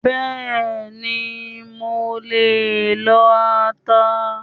Bẹ́ẹ̀ni, mo lè lo ata